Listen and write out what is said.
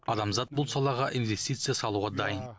адамзат бұл салаға инвестиция салуға дайын